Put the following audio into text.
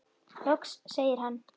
Loks segir hann